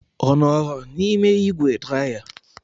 Ọ nọọrọ n'ime ígwè draya?